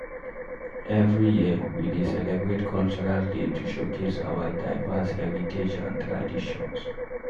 Every year, we dey celebrate cultural day to showcase our diverse heritage and traditions.